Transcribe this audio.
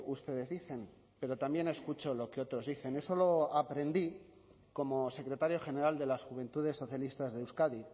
ustedes dicen pero también escucho lo que otros dicen eso lo aprendí como secretario general de las juventudes socialistas de euskadi